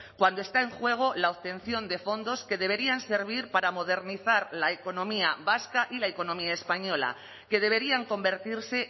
cuando está en juego la obtención de fondos que deberían servir para modernizar la economía vasca y la economía española que deberían convertirse